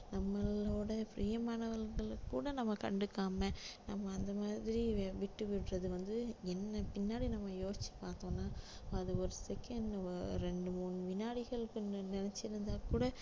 நம்மளோட பிரியமானவங்கள கூட நம்ம கண்டுக்காம நம்ம அந்த மாதிரி விட்டு விடறது வந்து என்ன பின்னாடி நம்ம யோசிச்சு பார்த்தோம்னா அது ஒரு second இரண்டு மூணு விநாடிகளுக்குன்னு நினைச்சிருந்தாக்கூட